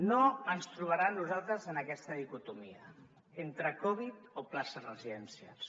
no ens trobarà a nosaltres en aquesta dicotomia entre covid o places residencials